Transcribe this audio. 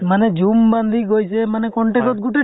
মানে জুম বান্ধি গৈছে মানে contact ত গোটেই টো